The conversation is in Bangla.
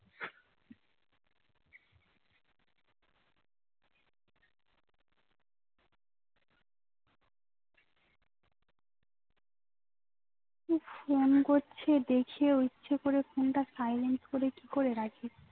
phone করছে দেখে ও ইচ্ছা করে phone টা silent করে কি করে রাখি